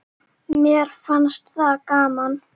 Mér fannst það gaman.